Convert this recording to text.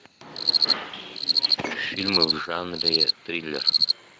фильмы в жанре триллер